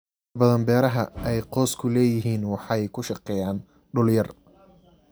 Inta badan beeraha ay qoysku leeyihiin waxay ku shaqeeyaan dhul yar.